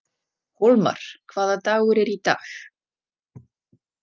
Hólmar, hvaða dagur er í dag?